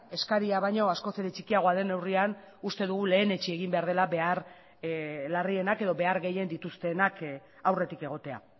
eskaria baino askoz ere txikiagoa den neurrian uste dugu lehenetsi egin behar dela behar larrienak edo behar gehien dituztenak aurretik egotea